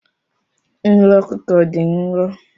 Nri ọkụkọ dị nro.